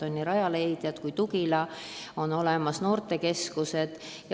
On nii Rajaleidja kui ka programmi "Noorte tugila" keskused.